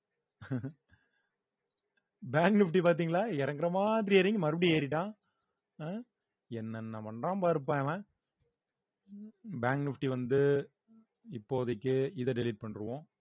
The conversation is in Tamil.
bank nifty பார்த்தீங்களா இறங்குற மாதிரி இறங்கி மறுபடியும் ஏறிட்டான் அஹ் என்னென்ன பண்ணறான் பாருப்பா இவன் bank nifty வந்து இப்போதைக்கு இத delete பண்ணிடுவோம்